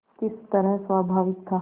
किस तरह स्वाभाविक था